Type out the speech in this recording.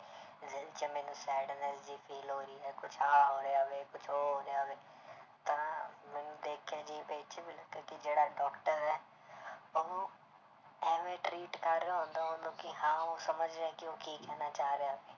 ਜੇ ਮੈਨੂੰ sadness ਜਿਹੀ feel ਹੋ ਰਹੀ ਹੈ ਕੁਛ ਆਹ ਹੋ ਰਿਯਾ ਹੈ ਕੁਛ ਉਹ ਹੋ ਰਿਯਾ ਵੇਹ ਤਾਂ ਮੈਨੂੰ ਦੇਖ ਲੱਗਾ ਕਿ ਜਿਹੜਾ doctor ਹੈ ਉਹਨੂੰ ਇਵੇਂ treat ਕਰ ਰਿਹਾ ਹੁੰਦਾ ਉਹਨੂੰ ਕਿ ਹਾਂ ਉਹ ਸਮਝ ਰਿਹਾ ਕਿ ਉਹ ਕੀ ਕਹਿਣਾ ਚਾਹ ਰਿਹਾ।